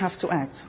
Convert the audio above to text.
enough. We have